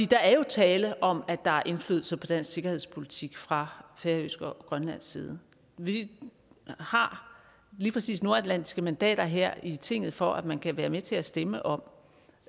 der er jo tale om at der er indflydelse på dansk sikkerhedspolitik fra færøsk og grønlandsk side vi har lige præcis nordatlantiske mandater her i tinget for at man kan være med til at stemme om